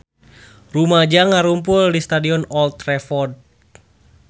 Rumaja ngarumpul di Stadion Old Trafford